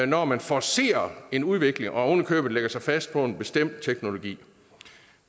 når man forcerer en udvikling og oven i købet lægger sig fast på en bestemt teknologi